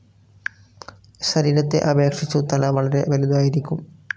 ശരീരത്തെ അപേക്ഷിച്ചു തല വളെരെ വലുതായിരിക്കും.